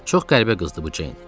Çox qəribə qızdır bu Ceyn.